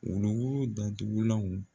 datugulanw